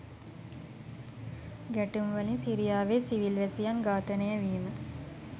ගැටුම්වලින් සිරියාවේ සිවිල් වැසියන් ඝාතනය වීම